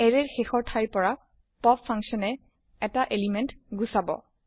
এৰে ৰ শেষৰ থাইৰ পৰা পপ ফাংচন এ এটা এলিমেন্ট গুচাব